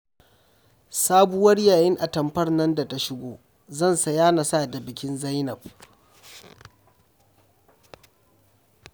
Sabuwar yayin atamfar nan da ta shigo zan saya na sa da bikin Zainab